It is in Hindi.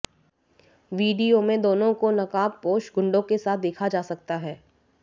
वीडियो में दोनों को नकाबपोश गुंडों के साथ देखा जा सकता है